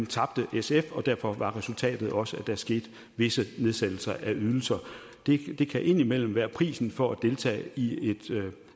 tabte sf og derfor var resultatet også at der skete visse nedsættelser af ydelser det kan indimellem være prisen for at deltage i et